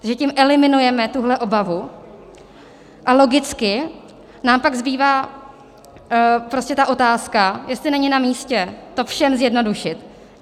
Takže tím eliminujeme tuhle obavu a logicky nám pak zbývá otázka, jestli není namístě to všem zjednodušit.